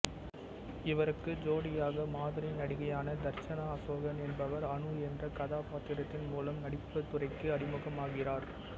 இவருக்கு ஜோடியாக மாதிரி நடிகையான தர்சனா அசோகன் என்பவர் அனு என்ற கதாபாத்திரத்தின் மூலம் நடிப்புத்துறைக்கு அறிமுகமாகிறார்